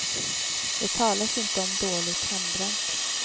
Det talas inte om dåligt hembränt.